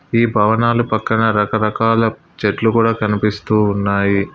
ఈ భవనాలు పక్కన రకరకాల చెట్లు కూడా కనిపిస్తూ ఉన్నాయి.